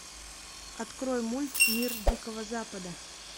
открой мульт мир дикого запада